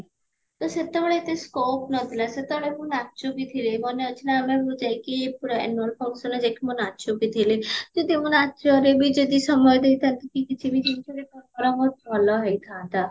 ତ ସେତେବେଳେ ଏତେ scope ନଥିଲା ସେତେବେଳେ ମୁଁ ନାଚୁବି ଥିଲି ମନେ ଅଛି ନା ଆମେ ମୁଁ ଯାଇକି ଗୋଟେ annual functionରେ ଯାଇକି ମୁଁ ନାଚୁବି ଥିଲି ଯଦି ମୁଁ ନାଚରେବି ଯଦି ସମୟ ଦେଇଥାନ୍ତି କି କିଛି ବି ଜିନିଷରେ ଭଲ ହେଇଥାନ୍ତା